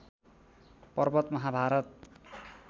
Parbat Mahabharat